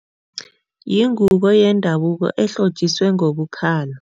Yingubo yendabuko ehlotjiswe ngobu-color.